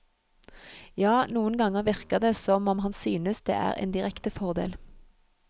Ja, noen ganger virker det som om han synes det er en direkte fordel.